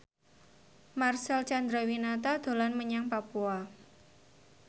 Marcel Chandrawinata dolan menyang Papua